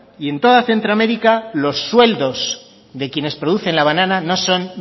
y en toda centroamérica los sueldos de quienes producen la banana no son